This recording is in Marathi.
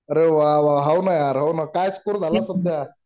अरे वा वा हाव न यार हाव न काय स्कोअर झाला सध्या